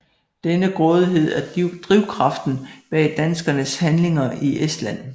Denne grådighed er drivkraften bag danskernes handlinger i Estland